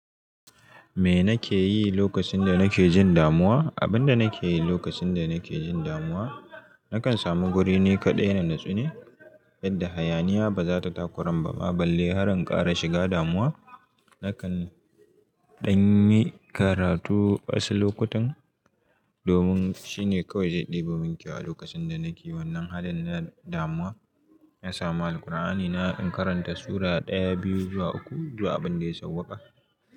Me nake yi lokacin da nake jin damuwa? Abin da nake yi lokacin da nake jin damuwa, nakan samu wuri ni kaɗai in natsu ne yadda hayaniya ba za ta takuramba ma balle har an ƙara shiga damuwa. Nakan ɗan yi karatu wasu lokutan domin shine kawai zai ɗeba munkyau a lokacin da nake wannan halin na damuwa. Na samu Alqur'ani na kan karanta sura ɗaya, biyu, zuwa uku, zuwa abin da ya sauwaka.